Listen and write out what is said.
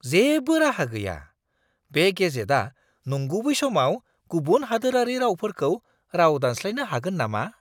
जेबो राहा गैया! बे गेजेटआ नंगुबै समाव गुबुन हादोरारि रावफोरखौ राव-दानस्लायनो हागोन नामा?